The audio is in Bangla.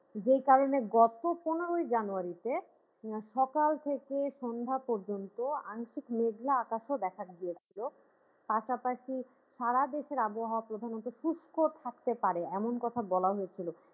যে কারণে গত পনেরোই january তে মানে সকাল থেকে সন্ধ্যা পর্যন্ত আংশিক মেঘলা আকাশও দেখা দিয়েছিল পাশাপাশি সারা দেশের আবহাওয়া প্রধানত শুষ্ক থাকতে পারে এমন কথা বলা হয়েছিলো